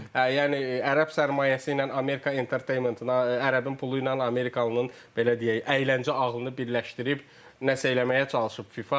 yəni ərəb sərmayəsi ilə Amerika Entertainment-in, ərəbin pulu ilə Amerikalının belə deyək, əyləncə ağlını birləşdirib nəsə eləməyə çalışıb FIFA.